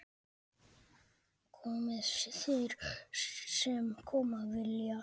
Komi þeir sem koma vilja.